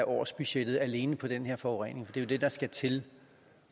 årsbudgettet alene til den her forurening det er jo det der skal til